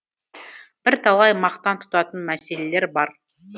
бірталай мақтан тұтатын мәселелер бар